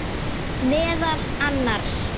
Meðal annars.